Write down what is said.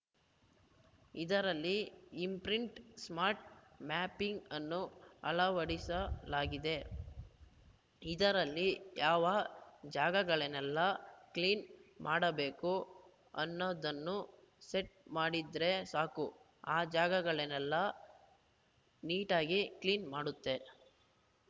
ಇದರಲ್ಲಿ imprint smart mapping ಅನ್ನು ಅಳವಡಿಸಲಾಗಿದೆ ಇದರಲ್ಲಿ ಯಾವ ಜಾಗಗಳನ್ನೆಲ್ಲ ಕ್ಲೀನ್‌ ಮಾಡಬೇಕು ಅನ್ನೋದನ್ನು ಸೆಟ್‌ ಮಾಡಿದ್ರೆ ಸಾಕು ಆ ಜಾಗಗಳನ್ನೆಲ್ಲ ನೀಟಾಗಿ ಕ್ಲೀನ್‌ ಮಾಡುತ್ತೆ